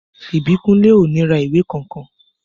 Ìbíkúnlé ò ní ra ìwé kankan